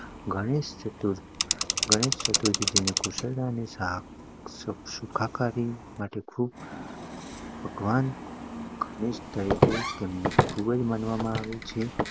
ગણેશ ચતુર્થી એ ગણેશચતુરથી કુશળતા અને સુખાકારીના મુખ્ય ભગવાન તરીકે તેને ખુબ જ માનવામાં આવે છે